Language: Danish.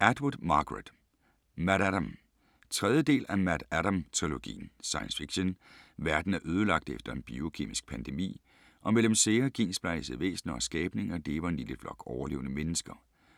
Atwood, Margaret: MaddAddam 3. del af MaddAddam-trilogien. Science fiction. Verden er lagt øde efter en biokemisk pandemi, og mellem sære, gensplejsede væsner og skabninger lever en lille flok overlevende mennesker,